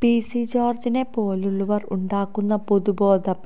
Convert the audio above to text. PC ജോര്ജിനെ പോലുള്ളവര് ഉണ്ടാക്കുന്ന പൊതുബോധം